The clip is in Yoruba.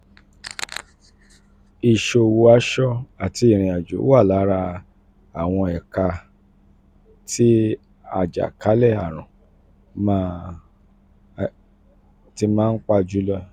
iṣowo aṣọ àti ìrìnàjò wà lára àwọn ẹ̀ka tí àjàkálẹ̀-àrùn náà ti náà ti pa jùlọ.